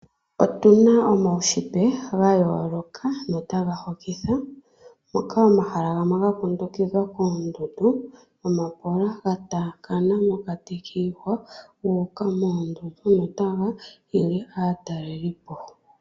Otu na omaushitwe ga yooloka notaga hokitha moka omahala gamwe ga kundukidhwa koondundu nomapola ga taakana mokati kiihwa guuka moondundu notaga hili aataleli po.